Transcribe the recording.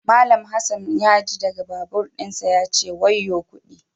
Mallam Hassan ya ji daga babur dinsa ya ce "wayo kudi na"